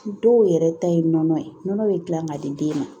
Dɔw yɛrɛ ta ye nɔnɔ ye nɔnɔ bɛ gilan ka di den ma